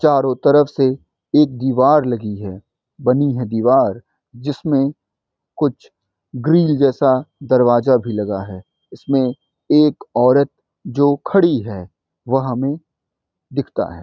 चारों तरफ से एक दिवार लगी है बनी है दिवार जिसमें कुछ ग्रिल जैसा दरवाज़ा भी लगा है इसमें एक औरत जो खड़ी है वो हमें दिखता है |